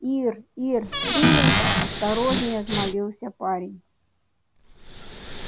ир ир ты это осторожнее взмолился парень